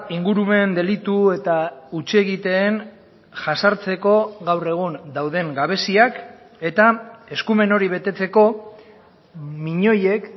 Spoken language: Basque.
ingurumen delitu eta hutsegiteen jazartzeko gaur egun dauden gabeziak eta eskumen hori betetzeko miñoiek